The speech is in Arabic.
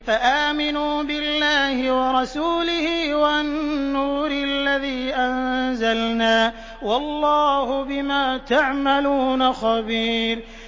فَآمِنُوا بِاللَّهِ وَرَسُولِهِ وَالنُّورِ الَّذِي أَنزَلْنَا ۚ وَاللَّهُ بِمَا تَعْمَلُونَ خَبِيرٌ